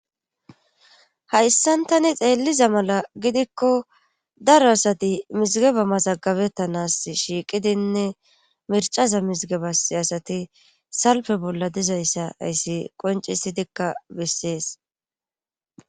Hayssan tani xeelliza mala gidikko daro asati mizigeba mazagabettanas shiiqidinne mircasa mizigebas asati salpe bolla dizayssa ayssi qoncisidikka bessees.